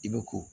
I bɛ ko